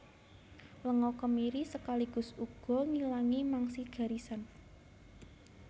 Lenga kemiri sekaligus uga ngilangi mangsi garisan